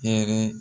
Hɛrɛ